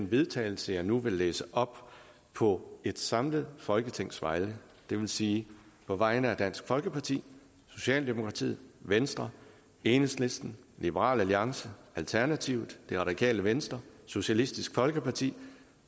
vedtagelse jeg nu vil læse op på et samlet folketings vegne det vil sige på vegne af dansk folkeparti socialdemokratiet venstre enhedslisten liberal alliance alternativet det radikale venstre socialistisk folkeparti